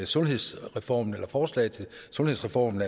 sundhedsreformen eller forslag til sundhedsreformen